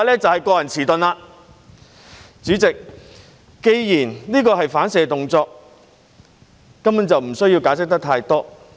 主席，既然這是反射動作，就根本不需要解釋太多。